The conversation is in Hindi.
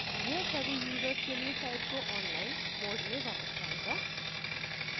यह सभी यूजर्स के लिए site को online mode में वापस लायेगा